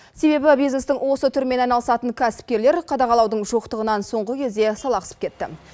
себебі бизнестің осы түрімен айналысатын кәсіпкерлер қадағалаудың жоқтығынан соңғы кезде салақсып кетті